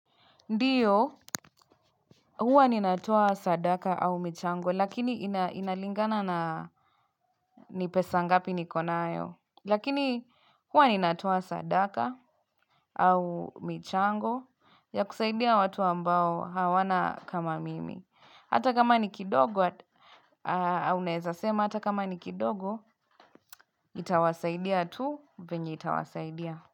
Ndio, huwa ninatoa sadaka au michango, lakini inalingana na ni pesa ngapi niko nayo. Lakini, huwa ninatoa sadaka au michango ya kusaidia watu ambao hawana kama mimi. Hata kama ni kidogo, unawezasema hata kama ni kidogo, nitawasaidia tu venye itawasaidia.